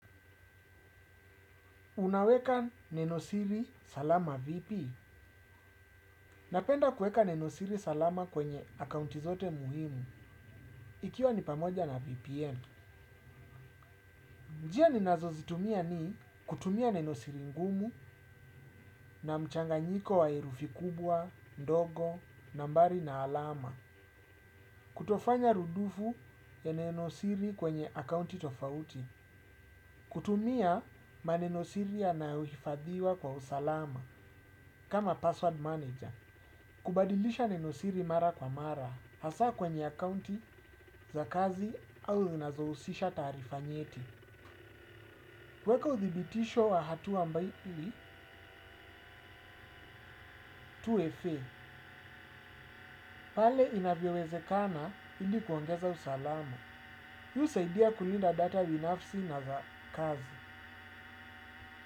Unaweka nenosiri salama vipi. Napenda kueka nenosiri salama kwenye akaunti zote muhimu. Ikiwa ni pamoja na VPN. Njia ninazo zitumia ni kutumia nenosiri ngumu na mchanganyiko wa herufi kubwa, ndogo, nambari na alama. Kutofanya rudufu ya nenosiri kwenye akaunti tofauti. Kutumia maneno siri yanayohifadhiwa kwa usalama kama password manager. Kubadilisha nenosiri mara kwa mara. Hasaa kwenye akaunti za kazi au zinazohusisha taarifa nyeti. Kuweka uthibitisho wa hatua ambayo 2FA. Pale inavyowezekana ili kuongeza usalama. Hii husaidia kulinda data binafsi na za kazi.